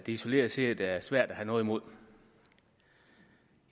isoleret set er svært at have noget imod